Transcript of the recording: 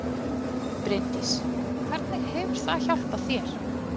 Bryndís: Og hvernig hefur það hjálpað þér?